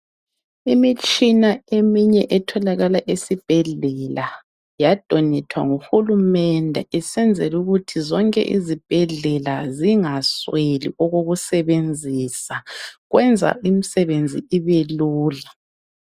Imitshina eminye etholakala esibhedlela yadonethwa nguhulumende, esenzela ukuthi zonke izibhedlela zingasweli okoku sebenzisa kwenza imisebenzi ibelula.